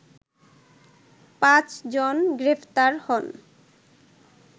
পাঁচজন গ্রেপ্তার হন